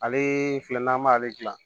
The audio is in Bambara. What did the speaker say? Ale filɛ n'an b'ale gilan